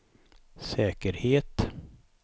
säkerhet